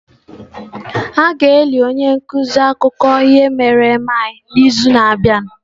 A ga-eli onye nkuzi akụkọ ihe mere eme anyị n'izu na-abịa.